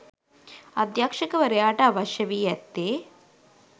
අධ්‍යක්ෂකවරයාට අවශ්‍ය වී ඇත්තේ